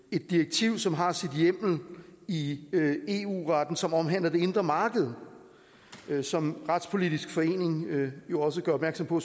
et direktiv som har sin hjemmel i eu retten som omhandler det indre marked som retspolitisk forening jo også gør opmærksom på